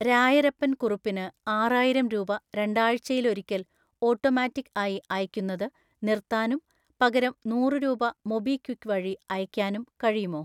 രായരപ്പൻ കുറുപ്പിന് ആറായിരം രൂപ രണ്ടാഴ്‌ചയിലൊരിക്കൽ ഓട്ടോമാറ്റിക്ക് ആയി അയയ്ക്കുന്നത് നിർത്താനും പകരം നൂറ് രൂപ മൊബിക്വിക്ക് വഴി അയയ്ക്കാനും കഴിയുമോ?